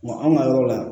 Ma anw ka yɔrɔ la